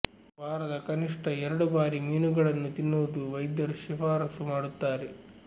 ವಾರದ ಕನಿಷ್ಠ ಎರಡು ಬಾರಿ ಮೀನುಗಳನ್ನು ತಿನ್ನುವುದು ವೈದ್ಯರು ಶಿಫಾರಸು ಮಾಡುತ್ತಾರೆ